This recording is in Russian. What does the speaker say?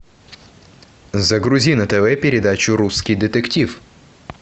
загрузи на тв передачу русский детектив